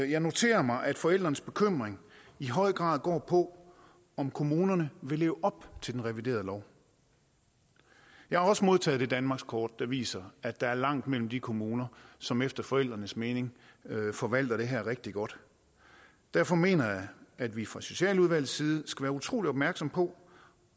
jeg noterer mig at forældrenes bekymring i høj grad går på om kommunerne vil leve op til den reviderede lov jeg har også modtaget det danmarkskort der viser at der er langt mellem de kommuner som efter forældrenes mening forvalter det her rigtig godt derfor mener jeg at vi fra socialudvalgets side skal være utrolig opmærksomme på